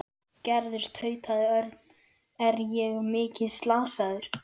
Gerður tautaði Örn. Er ég mikið slasaður?